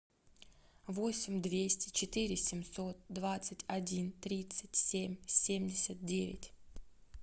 восемь двести четыре семьсот двадцать один тридцать семь семьдесят девять